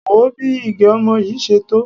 Wò ó bí igẹ̀ ọmọ yìí ṣe tó.